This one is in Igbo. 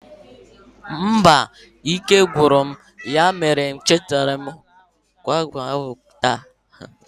Mba, ike gwụrụ m ya mere na m ehichaghi palọ ahụ taata